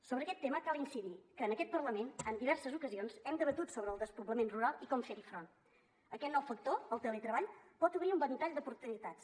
sobre aquest tema cal incidir que en aquest parlament en diverses ocasions hem debatut sobre el despoblament rural i com fer hi front aquest nou factor el teletreball pot obrir un ventall d’oportunitats